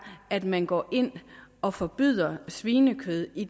at man går ind og forbyder svinekød i